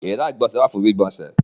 Ìyàrá-ìgbọ̀nsẹ̀ wà fún gbígbọnsẹ̀.